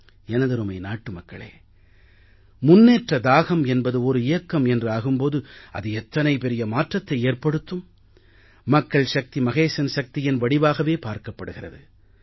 எனதருமை நாட்டு மக்களே முன்னேற்ற தாகம் என்பது ஒரு இயக்கம் என்று ஆகும் போது அது எத்தனை பெரிய மாற்றத்தை ஏற்படுத்தும் மக்கள் சக்தி மகேசன் சக்தியின் வடிவாகவே பார்க்கப்படுகிறது